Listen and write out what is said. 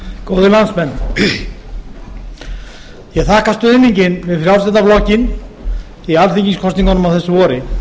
góðir landsmenn ég þakka stuðninginn við frjálslynda flokkinn í alþingiskosningunum á þessu